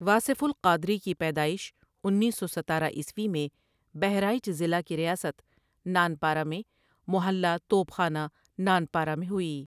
واصف ؔالقادری کی پیدائش انیس سو ستارہ عیسوی میں بہرائچ ضلع کی ریاست نانپارہ میں محلہ توپ خانہ نانپارہ میں ہوئی ۔